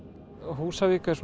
Húsavík er